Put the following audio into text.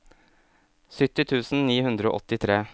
sytti tusen ni hundre og åttitre